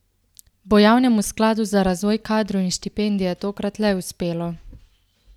Bo javnemu skladu za razvoj kadrov in štipendije tokrat le uspelo?